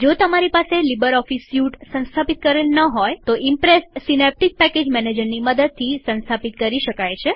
જો તમારી પાસે લીબરઓફીસ સ્યુટ સંસ્થાપિત કરેલ ન હોય તો ઈમ્પ્રેસ સીનેપટીક પેકેજ મેનેજરની મદદથી સંસ્થાપિત કરી શકાય છે